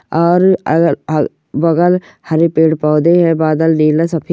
और अगल बगल हरे पेड़ पौधे है बादल नीला सफेद --